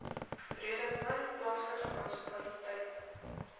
breedevallei plaaslike munisipaliteit